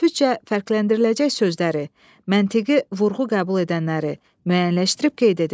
Tələffüzcə fərqləndiriləcək sözləri, məntiqi vurğu qəbul edənləri müəyyənləşdirib qeyd edin.